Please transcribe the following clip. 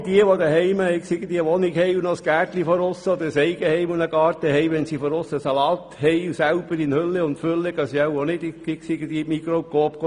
All diejenigen, die zu Hause einen Garten haben, kaufen den Salat auch nicht in der Migros oder im Coop, wenn er in Hülle und Fülle im Garten wächst.